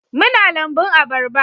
Muna lambun abarba